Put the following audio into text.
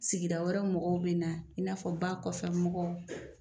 Sigi da wɛrɛ mɔgɔw bɛ na i na fɔ ba kɔfɛ mɔgɔw.